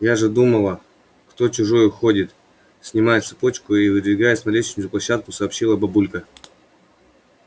я уж думала кто чужой ходит снимая цепочку и выдвигаясь на лестничную площадку сообщила бабулька